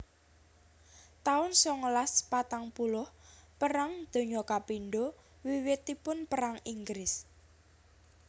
taun songolas patang puluh Perang Donya kapindho Wiwitipun perang Inggris